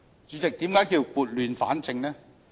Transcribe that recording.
主席，為何說是撥亂反正呢？